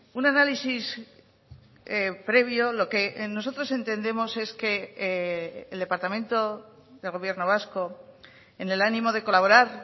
un análisis previo lo que nosotros entendemos es que el departamento del gobierno vasco en el ánimo de colaborar